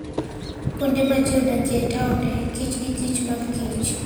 Kuonde ma ji odakie e taonde, kich gi kich mag kich.